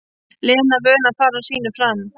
Lena vön að fara sínu fram.